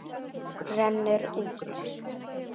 Rennur út.